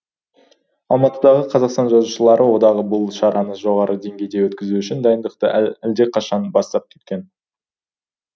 алматыдағы қазақстан жазушылары одағы бұл шараны жоғары деңгейде өткізу үшін дайындықты әлдеқашан бастап кеткен